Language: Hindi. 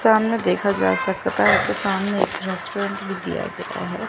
सामने देखा जा सकता है कि सामने एक रेस्टोरेंट भी दिया गया है।